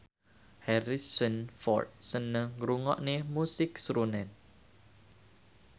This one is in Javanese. Harrison Ford seneng ngrungokne musik srunen